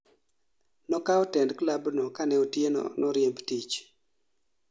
nokao tend klabno kane otieno noriemb tich